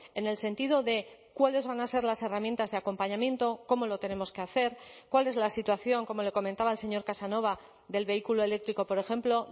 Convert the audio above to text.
en el sentido de cuáles van a ser las herramientas de acompañamiento cómo lo tenemos que hacer cuál es la situación como le comentaba el señor casanova del vehículo eléctrico por ejemplo